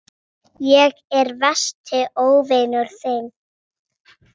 Ég er versti óvinur þinn.